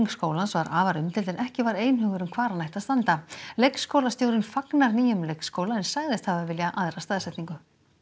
skólans var afar umdeild en ekki var einhugur um hvar hann ætti að standa leikskólastjórinn fagnar nýjum leikskóla en segist hafa viljað aðra staðsetningu